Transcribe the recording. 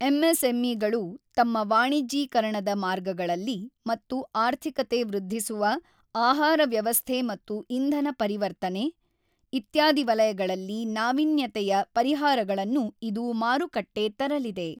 M SME ಗಳು ತಮ್ಮ ವಾಣಿಜ್ಯೀಕರಣದ ಮಾರ್ಗಗಳಲ್ಲಿ ಮತ್ತು ಆರ್ಥಿಕತೆ ವೃದ್ಧಿಸುವ, ಆಹಾರ ವ್ಯವಸ್ಥೆ ಮತ್ತು ಇಂಧನ ಪರಿರ್ತನೆ, ಇತ್ಯಾದಿ ವಲಗಳಲ್ಲಿ ನಾವೀನ್ಯತೆಯ ಪರಿಹಾರಗಳನ್ನು ಇದು ಮಾರುಕಟ್ಟೆ ತರಲಿದೆ.